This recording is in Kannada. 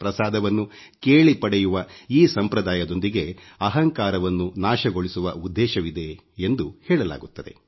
ಪ್ರಸಾದವನ್ನು ಕೇಳಿ ಪಡೆಯುವ ಈ ಸಂಪ್ರದಾಯದೊಂದಿಗೆ ಅಹಂಕಾರವನ್ನು ನಾಶಗೊಳಿಸುವ ಉದ್ದೇಶವಿದೆ ಎಂದು ಹೇಳಲಾಗುತ್ತದೆ